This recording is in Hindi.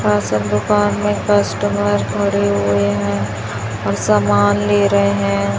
राशन दुकान में कस्टमर खड़े हुए हैं और समान ले रहे हैं।